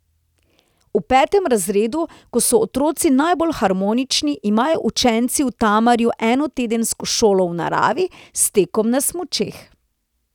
V petem razredu, ko so otroci najbolj harmonični, imajo učenci v Tamarju enotedensko šolo v naravi s tekom na smučeh.